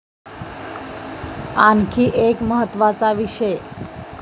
आणखी एक महत्त्वाचा विषय.